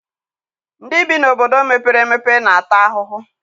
Ndị bi n'obodo mepere emepe na-ata ahụhụ.